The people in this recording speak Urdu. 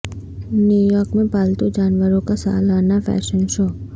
نیو یارک میں پالتو جانوروں کا سالانہ فیشن شو